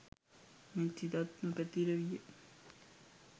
මෙත් සිතත් නො පැතිර විය.